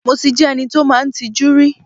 Mo ti jẹ́ ẹni tí ó máa ń tijú rí.